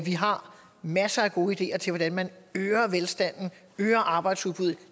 har masser af gode ideer til hvordan man øger velstanden øger arbejdsudbuddet